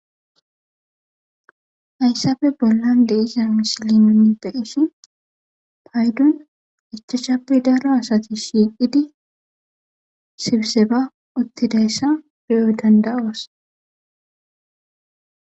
Hayssape bollan de'iza misilen paydon ichachape daro asati shiiqidi sibiseba utti danda'os.